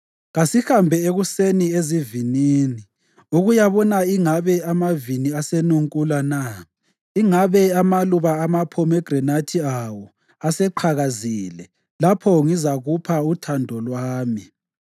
Kasihambe ekuseni ezivinini ukuyabona ingabe amavini asenunkula na, ingabe amaluba amaphomegranathi awo aseqhakazile lapho ngizakupha uthando lwami.